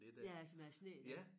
Ja altså med æ sne igen